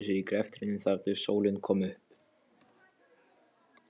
Þau gleymdu sér í greftrinum þar til sólin kom upp.